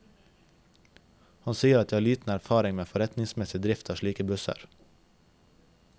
Han sier at de har liten erfaring med forretningsmessig drift av slike busser.